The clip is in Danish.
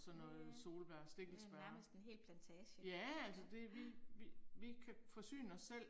Ja ja. Det er nærmest en hel plantage, ja, ja